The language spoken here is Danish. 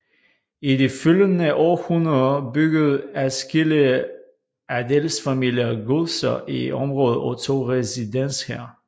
I de følgende århundreder byggede adskillige adelsfamilier godser i området og tog residens her